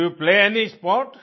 do you play any sport